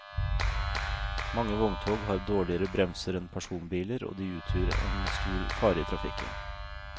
Mange vogntog har dårligere bremser enn personbiler, og de utgjør en stor fare i trafikken.